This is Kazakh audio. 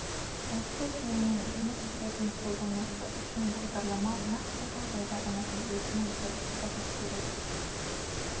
осы жүйемен жұмыс істейтін қолданушы үшін бағдарлама нақты жағдайдағы нәтижесінің дұрыстығы керек